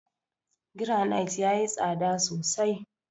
Garanait yayi tsada sosai.